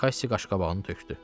Kassi qaşqabağını tökdü.